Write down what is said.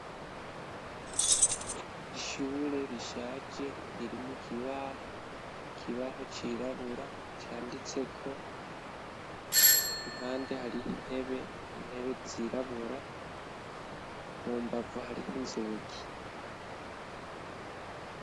Ishure rishaje ririmu kibaho. Kibaho cirabura canditse ko impande hariho intebe intebe zirabura, mu mbavu hariho inzugi.